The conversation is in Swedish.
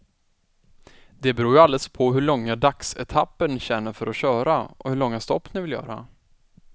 Det beror ju alldeles på hur långa dagsetapper ni känner för att köra och hur långa stopp ni vill göra.